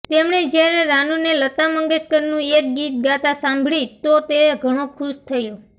તેમણે જયારે રાનુને લતા મંગેશકરનું એક ગીત ગાતા સાંભળી તો તે ઘણો ખુશ થયો